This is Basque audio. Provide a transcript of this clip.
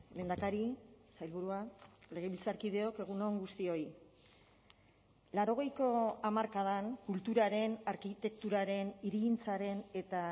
lehendakari sailburua legebiltzarkideok egun on guztioi laurogeiko hamarkadan kulturaren arkitekturaren hirigintzaren eta